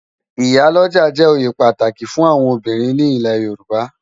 Iyá lòjá jè óyé pàtáki fún áwòn óbirin ni ilè Yoruba